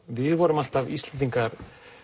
við vorum alltaf Íslendingar